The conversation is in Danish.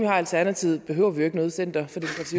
har alternativet behøver vi jo ikke noget center